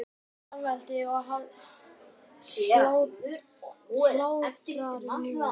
Þá heyrðist skvaldrið og hlátrarnir niður.